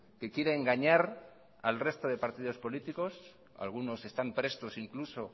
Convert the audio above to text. que quiere engañar al resto de partido políticos algunos están prestos incluso